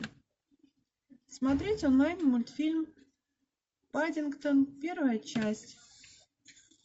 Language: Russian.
смотреть онлайн мультфильм паддингтон первая часть